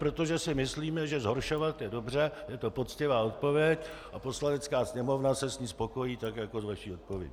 Protože si myslíme, že zhoršovat je dobře, je to poctivá odpověď a Poslanecká sněmovna se s ní spokojí, tak jako s vaší odpovědí.